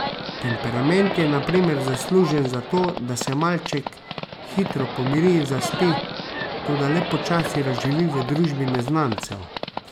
Temperament je na primer zaslužen za to, da se malček hitro pomiri in zaspi, toda le počasi razživi v družbi neznancev.